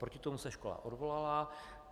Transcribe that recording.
Proti tomu se škola odvolala.